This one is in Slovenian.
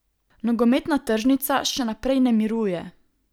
Nogometna tržnica še naprej ne miruje.